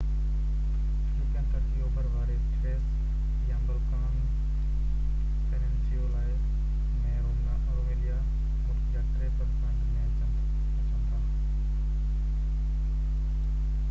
European ترڪي اوڀر واري ٿريس يا بلقان پيننسيولا ۾ روميليا ملڪ جي 3% ۾ اچن ٿا